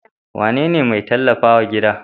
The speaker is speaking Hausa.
Wane ne mai tallafa wa gida?